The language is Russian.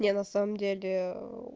я на самом деле